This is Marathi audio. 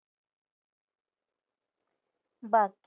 बाकी